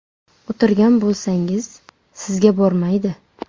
O‘tirgan bo‘lsangiz, sizga bormaydi.